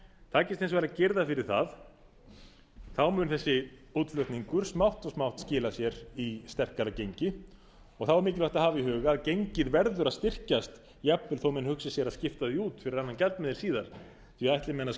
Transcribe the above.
takist hins vegar að girða fyrir það mun þessi útflutningur smátt og smátt skila sér í sterkara gengi og þá er mikilvægt að hafa í huga að gengið verður að styrkjast jafnvel þó menn hugsi sér að skipta því út fyrir annan gjaldmiðil síðar því ætli menn að